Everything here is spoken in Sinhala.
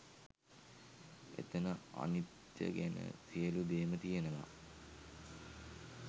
එතන අනිත්‍යය ගැන සියලු දේම තියෙනවා